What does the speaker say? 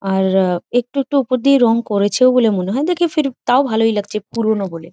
আর আ একটু একটু উপর দিয়ে রং করেছেও বলে মনে হয়। দেখে ফির তও ভালোই লাগছে পুরোনো বলে ।